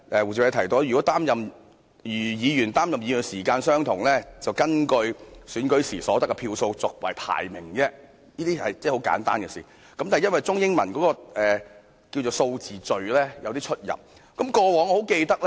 胡志偉議員建議如擔任議員的時間相同，便根據選舉時所得票數決定排名，這是很簡單的修改，但卻因為中英文數字次序上的出入而不獲批准。